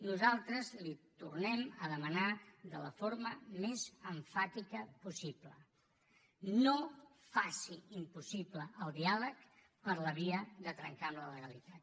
nosaltres li tornem a demanar de la forma més emfàtica possible no faci impossible el diàleg per la via de trencar amb la legalitat